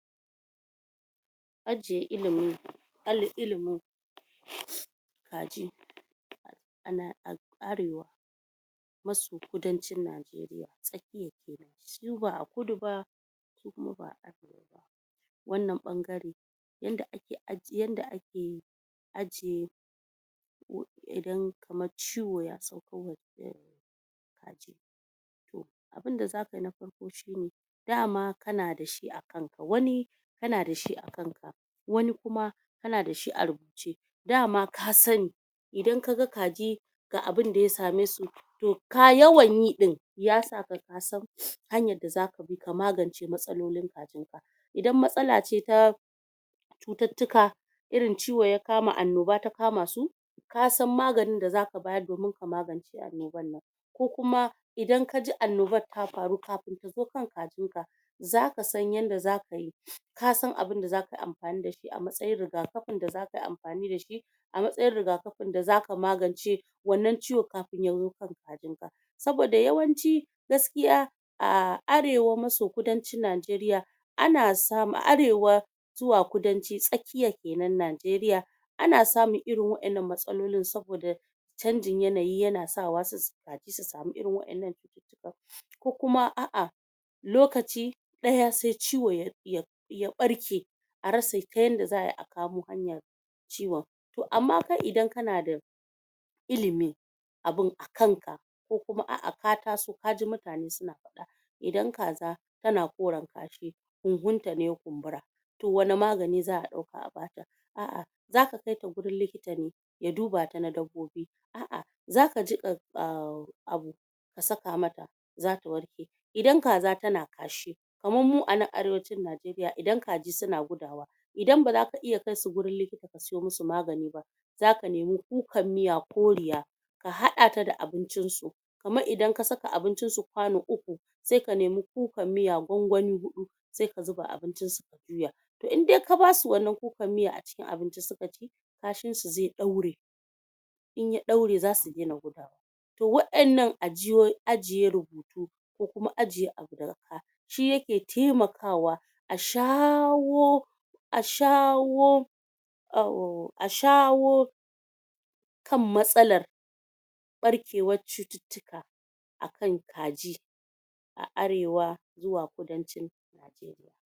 Ajiye ilimin ilimin kaji. a Arewa maso kudancin Najeriya Tsakiyar kenan su ba'a kudu ba su kuma arewa ba. Wannan ɓangare, yadda ake ajiye idan kamar ciwo ya sauko wa kaji, To abinda za kai na farko shine dama kana da shi a kanka wani, kana dashi a kanka wani kuma kana da shi a rubuce, da ma ka sa sani, idan ka ga kaji ga abunda ya same su, to yawan yi ɗin ya sa ka ka san hanyar da za ka bi ka magance matsalolin kajinka idan matsala ce ta cututtuka, irin ciwo ya kama, annoba ta kama su ka san maganin da za ka bayar domin ka magance annobar. Ko kuma idan kaji annobar ta faru kafin ta zo kan kajinka, za ka san yadda za ka yi ka san abunda za ka yi amfani da shi a matsatin rigakafin da za kai amfani da shi, a matsayin rigakafin da za ka magance wannan ciwo kafin ya wo kan kajinka. Saboda yawanci, gaskiya ahh Arewa maso kudancin Nigeria ana samun, a arewa zuwa kudanci, tsakiyar kenan, Najeriya ana samun irin wa'yan nan matsalolin saboda canjin yanayi yana sa wasu kaji su sami irin wa'yan nan cututtukan, ko kuma, a'a lokaci ɗaya sai ciwo ya ɓarke a rasa ta yadda a ai a kamo hanyar ciwon to amma kai idan kana da ilimin abin a kanka ko kuma a'a ka taso kaji mutane suna faɗa, idan kaza tana koren kashi kuhun ta ne ya kumbura. To wanne magani za'a ɗauka a bata a'a za ka kaita gurin likita ne, ya duba ta na dabbobi, a'a zaka jiƙa ahhh abu ka saka mata, za ta warke. Idan kaza tana kashi, kamarmu a nan arewacin Najeriya idan kaji suna gudawa, idan ba za ka iya kaisuwurin likta ba ka sayo musu magani ba, za ka nemi kukan miya koriya, ka haɗa da abincinsu kamar idan ka saka abincin su kwano uku sai ka nemi kukar miya gwangwani huɗu sa ka zuba a abincin su ka juya. To in da ka basu wannan kukar miyar a cikin abinci suka ci, kashin su zai ɗaure in ya ɗaure, a su dena gudawa. To wannan ajiye rubutu ko kuma ajiye abu da ga ka, shi ya ke taimakawa a sha......wo asha...wo ashawo kan matsalar ɓarkewar cututtuka akan kaji a arewa zuwa kudancin Najeriya.